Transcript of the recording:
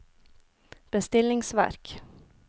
bestillingsverk